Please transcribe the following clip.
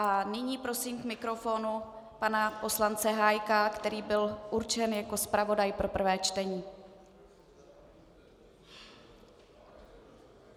A nyní prosím k mikrofonu pana poslance Hájka, který byl určen jako zpravodaj pro prvé čtení.